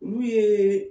Olu ye